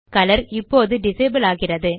colour இப்போது disable ஆகிறது